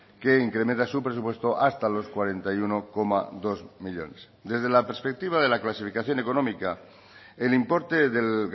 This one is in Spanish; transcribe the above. que incrementa su presupuesto hasta los cuarenta y uno coma dos millónes desde la perspectiva de la clasificación económica el importe del